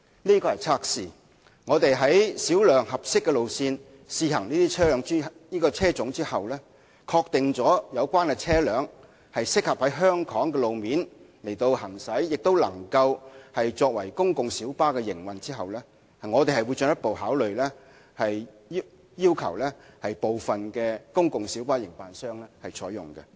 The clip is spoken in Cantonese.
這是個測試，在小量合適的路線試行這個車種後，確定有關車輛適合在香港路面行駛和作為公共小巴營運，我們會進一步考慮要求部分公共小巴營辦商採用。